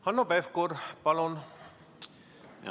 Hanno Pevkur, palun!